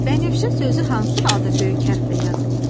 Bənövşə sözü hansı halda böyük hərflə yazılır?